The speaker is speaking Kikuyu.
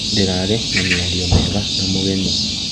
Ndĩrarĩ na mĩario mĩega na mũgeni.